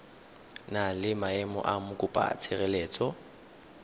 na le maemo a mokopatshireletso